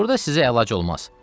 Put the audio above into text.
Burda sizə əlac olmaz.